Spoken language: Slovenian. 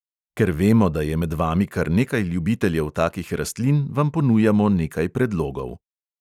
Ker vemo, da je med vami kar nekaj ljubiteljev takih rastlin, vam ponujamo nekaj predlogov.